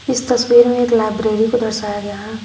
इस तस्वीर में एक लाइब्रेरी को दर्शाया गया है।